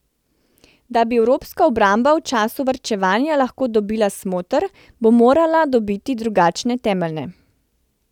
Da bi evropska obramba v času varčevanja lahko dobila smoter, bo morala dobiti drugačne temelje.